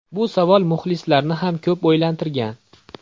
Bu savol muxlislarni ham ko‘p o‘ylantirgan.